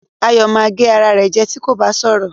Ayọ̀ ma gé ara rẹ̀ jẹ́ tí kò bá sọra